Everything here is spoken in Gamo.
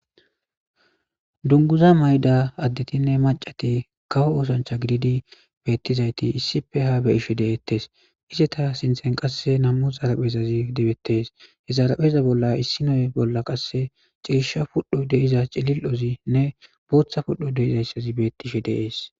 Dunguza mayda addetinne macati kawo oosancha gididi beettizayti issife ha beyishe deettes ise ta sinthen qasse nammu zaraphezazi dibettees he zarapeza bolla issi noye bolla qasse ciisha pudho deiza cilil ozinne booththa pudho deizayssazi bettishe deees.